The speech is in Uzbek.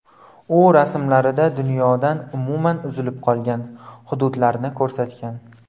U rasmlarida dunyodan umuman uzilib qolgan hududlarni ko‘rsatgan.